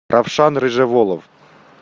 равшан рыжеволов